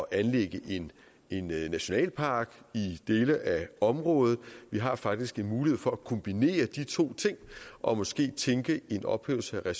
at anlægge en nationalpark i dele af området vi har faktisk mulighed for at kombinere de to ting og måske tænke en ophævelse af